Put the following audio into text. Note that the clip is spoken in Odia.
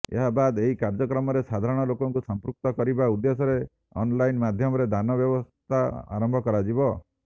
ଏହାବାଦ୍ ଏହି କାର୍ଯ୍ୟକ୍ରମରେ ସାଧାରଣ ଲୋକଙ୍କୁ ସମ୍ପୃକ୍ତ କରିବା ଉଦ୍ଦେଶ୍ୟରେ ଆନ୍ଲାଇନ୍ ମାଧ୍ୟମରେ ଦାନ ବ୍ୟବସ୍ଥା ଆରମ୍ଭ କରାଯିବ